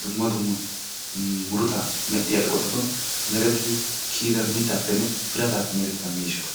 dumma dumma murutaa medhdhiyaa eqotattun merettidi kiyyida mittappenne biratappe merettida miishshata.